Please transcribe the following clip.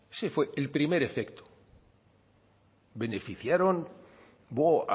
ese fue el primer efecto